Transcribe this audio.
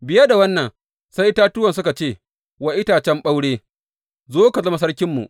Biye da wannan, sai itatuwan suka ce wa itacen ɓaure, Zo ka zama sarkinmu.’